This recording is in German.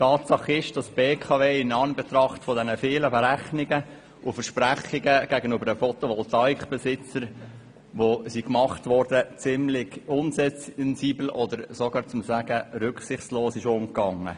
Tatsache ist, dass die BKW nach den vielen Berechnungen und Versprechungen, die gegenüber den Besitzern von Photovoltaik-Anlagen gemacht wurden, ziemlich unsensibel oder sogar rücksichtslos mit diesen umging.